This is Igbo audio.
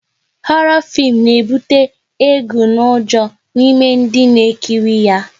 Horo fim na ebute egwu n'ujo n'ime dị na-ekiri ya